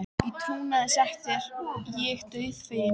Í trúnaði sagt er ég dauðfeginn.